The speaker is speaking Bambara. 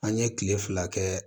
An ye kile fila kɛ